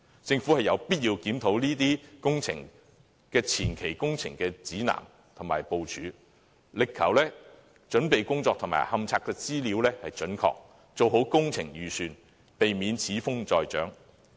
政府有必要檢討這些工程的前期工程指南和部署，力求準備工作和勘察資料準確，做好工程預算，避免此風再長。